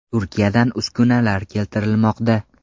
Turkiyadan uskunalar keltirilmoqda.